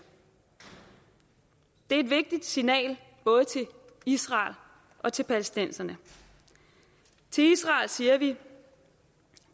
det er et vigtigt signal både til israel og til palæstinenserne til israel siger vi